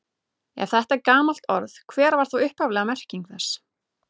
Ef þetta er gamalt orð, hver var þá upphafleg merking þess?